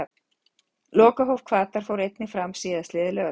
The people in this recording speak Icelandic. Lokahóf Hvatar fór einnig fram síðastliðið laugardagskvöld.